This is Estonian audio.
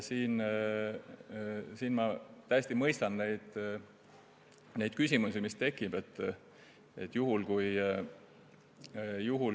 Ma täiesti mõistan neid küsimusi, mis siin tekivad.